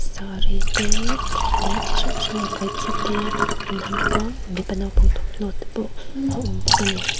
saree te leh ti hrang hrang a kaih chi te an ha bawk a mipa naupang thawmhnaw te pawh a awm bawk ani.